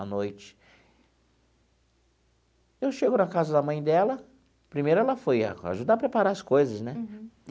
A noite, eu chego na casa da mãe dela, primeiro ela foi ajudar a preparar as coisas, né? Uhum.